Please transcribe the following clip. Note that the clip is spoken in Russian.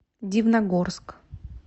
дивногорск